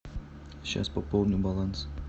счас пополню баланс